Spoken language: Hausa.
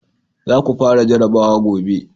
za ku fara jarabawa gobe!